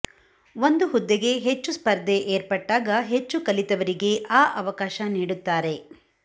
ಒಂದು ಹುದ್ದೆಗೆ ಹೆಚ್ಚು ಸ್ಪರ್ಧೆ ಏರ್ಪಟ್ಟಾಗ ಹೆಚ್ಚು ಕಲಿತವರಿಗೆ ಆ ಅವಕಾಶ ನೀಡುತ್ತಾರೆ